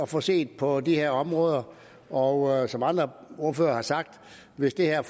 få set på de her områder og jeg som andre ordførere har sagt at hvis det her